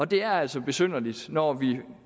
det er altså besynderligt når vi